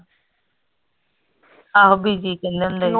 ਆਹੋ ਬੀਜੀ ਅਖੰਡ ਹੁੰਦੇ ਹੀ